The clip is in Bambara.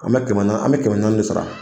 An bɛ kɛmɛ na an bɛ kɛmɛ naani ne sara